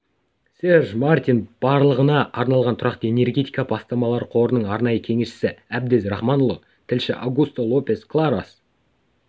серж мартин барлығына арналған тұрақты энергетика бастамалары қорының арнайы кеңесшісі әбдез рахманұлы тілші аугусто лопес кларос